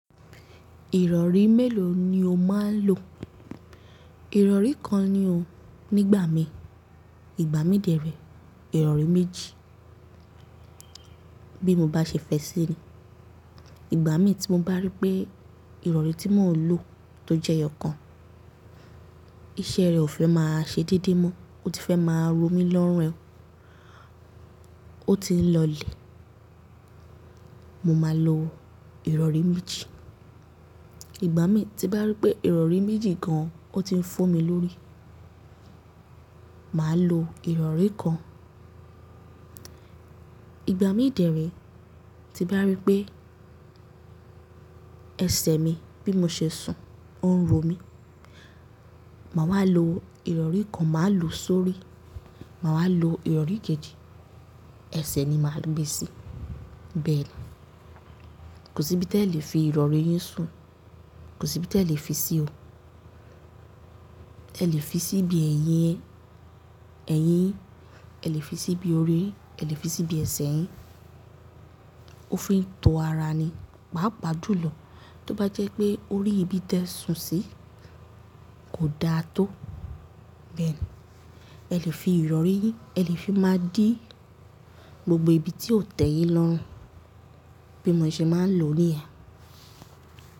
Ìrọ̀rí mélòó ni o máa ń lò? Ìrọ̀rí kan ni o nígbà mi. Ìgbà mí dẹ́rẹ̀, Ìrọ̀rí méjì. Bí mo bá ṣe fẹ́ sí i ni. Ìgbà mí tí mo bá rí pé Ìrọ̀rí tí mò ń lò tó jẹ́ eyokan, iṣẹ́ rẹ̀ ò fẹ́ máa ṣe déédé mọ́, ó ti fẹ́ máa romi lọ́rùn ẹ, ó ti ń lọ lè, mo máa lo Ìrọ̀rí méjì. Ìgbà mí tí bá rí pé Ìrọ̀rí méjì gan-an ó ti ń fọ́ mi lórí, màá lo Ìrọ̀rí kan. Ìgbà mí dẹ́rẹ̀ẹ́ tí bá rí pé ẹsẹ̀ mi bí mo ṣe sùn, ó ń ro mi, màá wá lo Ìrọ̀rí kan, màá lò ó sórí, màá wá lo Ìrọ̀rí kejì, ẹsẹ̀ ni màá gbé sí. Bẹ́ẹ̀ ni. Kò sí bí tí ẹ lè fi Ìrọ̀rí yìí sùn, kò sí bí ẹ lè fi sí o. Ẹ lè fi sí bí eyín ẹ, ẹyín yin, ẹ lè fi sí bí orí yin, ẹ lè fi sí bí ẹsẹ̀ yin. Ó fi ń to ara ni, pààpàá jú lọ. Tí ó bá jẹ́ pé orí ibi tí ẹ sùn sí kò da tó, bẹ́ẹ̀ ni. Ẹ lè fi Ìrọ̀rí yìn, ẹ lè fi máa dí gbogbo ibi tí o tẹ̀ yín lọrun bí mo ṣe máa ń lò ó níyen.